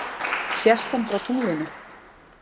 sést hann frá tunglinu